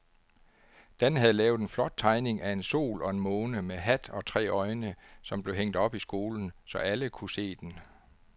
Dan havde lavet en flot tegning af en sol og en måne med hat og tre øjne, som blev hængt op i skolen, så alle kunne se den.